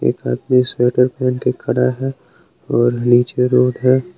एक आदमी स्वेटर पहन के खड़ा है और नीचे रोड है।